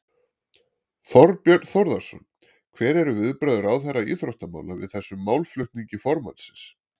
Þorbjörn Þórðarson: Hver eru viðbrögð ráðherra íþróttamála við þessum málflutningi formannsins?